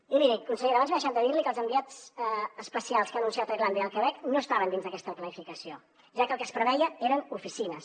i miri consellera abans m’he deixat de dir li que els enviats especials que ha anunciat a irlanda i al quebec no estaven dins d’aquesta planificació ja que el que es preveia eren oficines